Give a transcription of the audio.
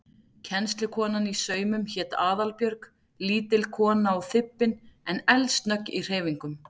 Kennslukonan í saumum hét Aðalbjörg, lítil kona og þybbin en eldsnögg í hreyfingum.